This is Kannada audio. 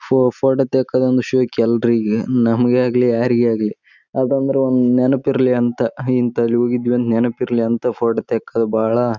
ಸಾಧ್ಯವಾದುದಿಲ್ಲ ಅದಕ್ಕೋಸ್ಕರ ಪ್ರತಿಯೊಂದು ಹುಡುಗನು ಹುಡುಗಿಯಾಗಿ--